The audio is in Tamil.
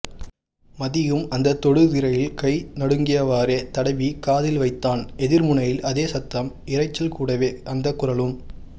மதியும் அந்த தொடுதிரையில் கை நடுங்கியவாறே தடவி காதில் வைத்தான் எதிர்முனையில் அதே சத்தம் இறைச்சல் கூடவே அந்த குரலும்